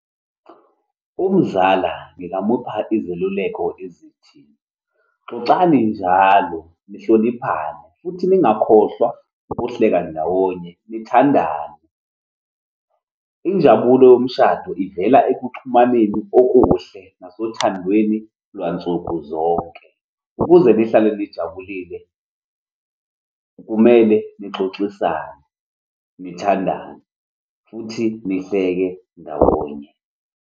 Umzala ngingamupha izeluleko ezithi, xoxani njalo, nihloniphane. Ningakhohlwa ukuhleka ndawonye, nithandane. Injabulo yomshado ivela ekuxhumaneni okuhle sasothandweni lwansuku zonke. Ukuze nihlale nijabulile, kumele nixoxisane, nithandane, futhi nihleke ndawonye.